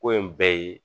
Ko in bɛɛ ye